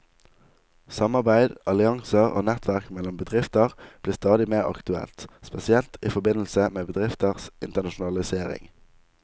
Samarbeid, allianser og nettverk mellom bedrifter blir stadig mer aktuelt, spesielt i forbindelse med bedrifters internasjonalisering.